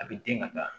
A bɛ den ka taa